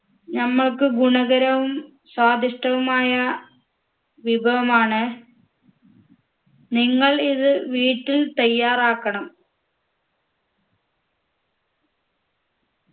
നമ്മക്ക് ഗുണകരവും സ്വാദിഷ്ഠവുമായ വിഭവമാണ് നിങ്ങൾ ഇത് വീട്ടിൽ തയ്യാറാക്കണം